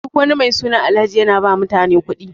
Duk wani mai suna Alhaji yana ba mutane kuɗi.